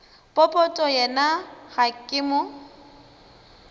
popota yena ga ke mo